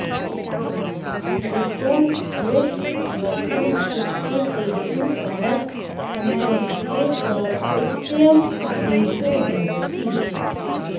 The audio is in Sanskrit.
दृक् दृश वतु इत्येतेषु परतः समानस्य स इत्ययम् आदेशो भवति